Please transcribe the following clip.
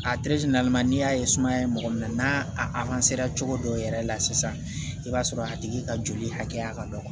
A n'i y'a ye sumaya ye mɔgɔ minɛ n'a cogo dɔw yɛrɛ la sisan i b'a sɔrɔ a tigi ka joli hakɛya ka dɔgɔ